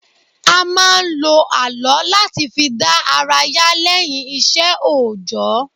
A máa ń lo àlọ́ láti fi dá ara yá lẹ́yìn ìṣe òjọ́